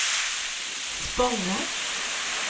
Spånga